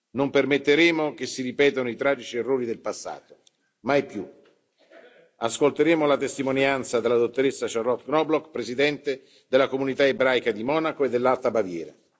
Non permetteremo che si ripetono i tragici errori del passato mai più. Ascolteremo la testimonianza della dottoressa Charlotte Knobloch, presidente della Comunità ebraica di Monaco e dell'Alta Baviera.